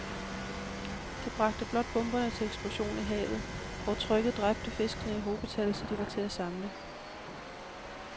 De bragte blot bomberne til eksplosion i havet, hvor trykket dræbte fiskene i hobetal, så de var til at samle